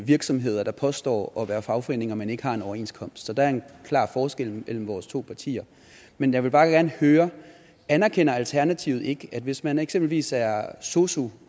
virksomheder der påstår at være fagforeninger men ikke har en overenskomst så der er en klar forskel mellem vores to partier men jeg vil bare gerne høre anerkender alternativet ikke at hvis man eksempelvis er sosu